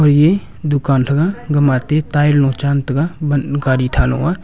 koye dukaan thega gama ate tie lo chan taga mat gadi tha lo a.